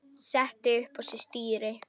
setti upp á sér stýri